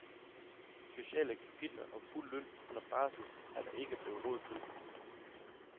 Sociale kapitler og fuld løn under barsel er der ikke blevet råd til.